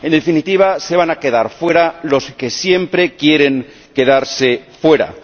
En definitiva, se van a quedar fuera los que siempre quieren quedarse fuera.